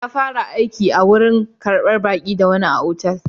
Ya fara aiki a warin karɓar baki da wani otal.